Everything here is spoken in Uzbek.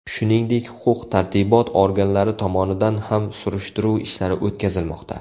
Shuningdek, huquq-tartibot organlari tomonidan ham surishtiruv ishlari o‘tkazilmoqda.